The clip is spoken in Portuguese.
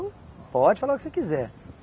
Pode falar o que você quiser.